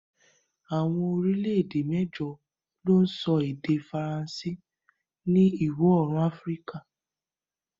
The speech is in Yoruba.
Awọn orílẹ̀-èdè mẹjọ lo ń sọ èdè Faransé ni iwọ-oorun Afíríkà